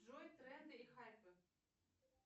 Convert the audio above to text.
джой тренды и хайпы